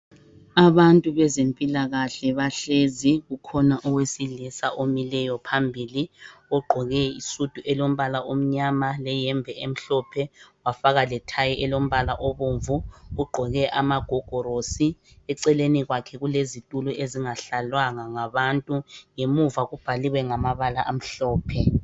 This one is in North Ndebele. Abantu abezempilakahle bahlezi kukhona wesilisa omileyo phambili ogqoke isudu elombala omnyama leyembe elombala omhlophe wafaka lethayi elombala obomvu, ugqoke amagogorosi, eceleni kwakhe kulezitulo ezingahlalwanga ngabantu ngemuva kubhaliwe ngamabala amhlophe.